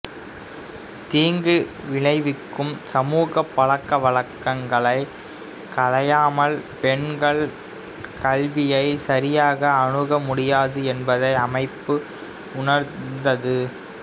தீங்கு விளைவிக்கும் சமூக பழக்கவழக்கங்களைக் களையாமல் பெண்கள் கல்வியை சரியாக அணுக முடியாது என்பதை அமைப்பு உணர்ந்த்து